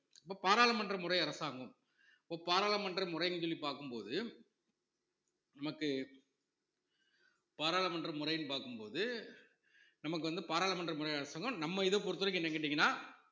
இப்ப பாராளுமன்ற முறை அரசாங்கம் இப்ப பாராளுமன்ற முறைன்னு சொல்லி பார்க்கும் போது நமக்கு பாராளுமன்ற முறைன்னு பார்க்கும் போது நமக்கு வந்து பாராளுமன்றம் முறை அரசாங்கம் நம்ம இத பொறுத்தவரைக்கும் என்னன்னு கேட்டீங்கன்னா